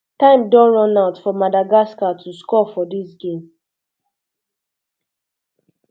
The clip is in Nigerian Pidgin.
time don um run out for madagascar to score for dis game um